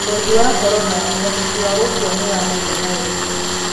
Urogi wa Korona, Uhoteki wa gũkua nĩ wa mũigana ũrĩkũ?